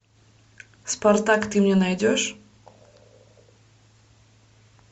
спартак ты мне найдешь